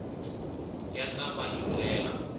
ya ta va hi ndlela